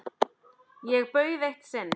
Ég bauð eitt sinn